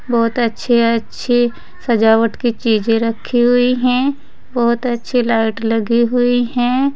बहुत अच्छी अच्छी सजावट की चीजे रखी हुई है बहोत अच्छी लाइट लगी हुई हैं।